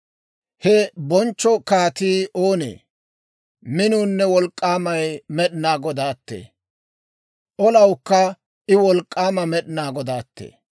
He bonchcho kaatii oonee? Minuunne wolk'k'aamay Med'inaa Godaatee! Olawukka I wolk'k'aama Med'inaa Godaatee!